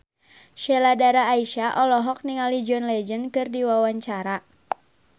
Sheila Dara Aisha olohok ningali John Legend keur diwawancara